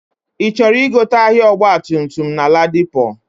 Ichọrọ igote ahia ọgba tum tum na ladipo?